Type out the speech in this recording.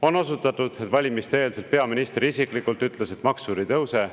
On osutatud, et valimiste-eelselt peaminister isiklikult ütles, et maksud ei tõuse.